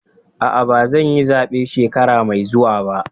A'a, ba zan yi zabe shekara mai zuwa ba.